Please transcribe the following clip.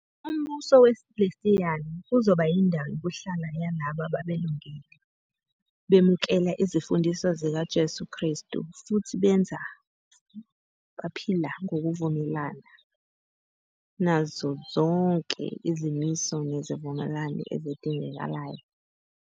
Umbuso wesilestiyali kuzoba yindawo yokuhlala yalabo ababelungile, bemukela izimfundiso zikaJesu Krestu, futhi benza futhi baphila ngokuvumelana nazo zonke izimiso nezivumelwano ezidingekayo.